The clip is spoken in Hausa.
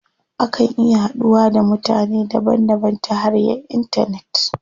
Akan iya haduwa da mutane daban daban ta hanyar intanet.